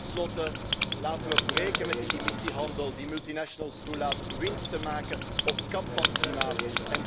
En ten slotte laten we breken met die emissiehandel die multinationals toelaat winst te maken ten koste van het klimaat.